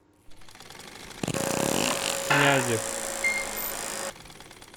князев